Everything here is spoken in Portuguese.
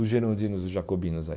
Os gerondinos, os jacobinos aí.